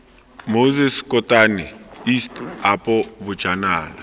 moses kotane east apo bojanala